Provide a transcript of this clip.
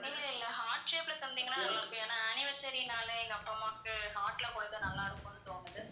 இல்ல இல்ல heart shape ல தந்தீங்கன்னா நல்லா இருக்கும் ஏன்னா anniversary னால எங்க அப்பா அம்மாக்கு heart ல கொடுத்தா நல்லா இருக்கும்னு தோணுது